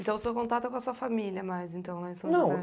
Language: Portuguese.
Então, o seu contato é com a sua família mais, então, lá em São José?